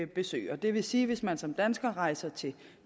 besøger det vil sige at hvis man som dansker rejser til